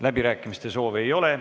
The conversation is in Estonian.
Läbirääkimiste soovi ei ole.